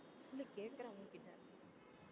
இல்ல கேக்கறேன் உங்கிட்ட